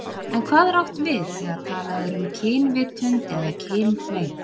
En hvað er átt við þegar talað er um kynvitund eða kynhneigð?